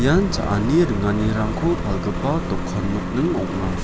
ian cha·ani ringanirangko palgipa dokan nokning ong·a.